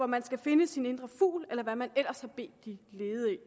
man skal finde sin indre fugl eller hvad man ellers har bedt de